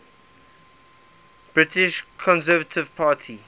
british conservative party